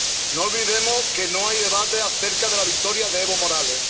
No olvidemos que no hay debate acerca de la victoria de Evo Morales.